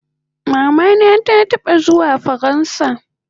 Mama na ta taba zuwa faransa